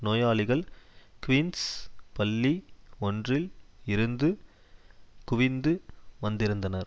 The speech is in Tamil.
நோயாளிகள் க்வீன்ஸ் பள்ளி ஒன்றில் இருந்து குவிந்து வந்திருந்தனர்